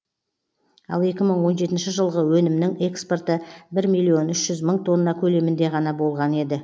ал екі мың он жетінші жылғы өнімнің экспорты бір миллион үш жүз мың тонна көлемінде ғана болған еді